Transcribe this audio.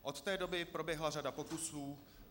Od té doby proběhla řada pokusů.